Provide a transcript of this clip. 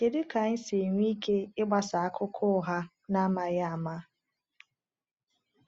Kedu ka anyị si enwe ike ịgbasa akụkọ ụgha n’amaghị ama?